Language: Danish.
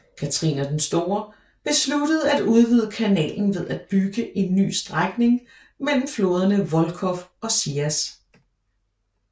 Katharina den Store besluttede at udvide kanalen ved at bygge en ny strækning mellem floderne Volkhov og Sias